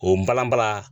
O balan bala